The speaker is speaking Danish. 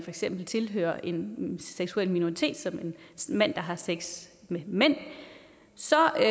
eksempel tilhører en seksuel minoritet som en mand der har sex med mænd så er